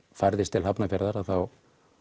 færðist til Hafnarfjarðar að þá